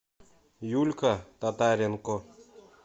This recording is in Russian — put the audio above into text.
юлька татаренко